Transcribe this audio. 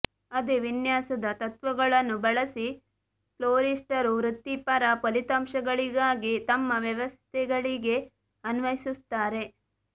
ಅದೇ ವಿನ್ಯಾಸದ ತತ್ವಗಳನ್ನು ಬಳಸಿ ಫ್ಲೋರಿಸ್ಟರು ವೃತ್ತಿಪರ ಫಲಿತಾಂಶಗಳಿಗಾಗಿ ತಮ್ಮ ವ್ಯವಸ್ಥೆಗಳಿಗೆ ಅನ್ವಯಿಸುತ್ತಾರೆ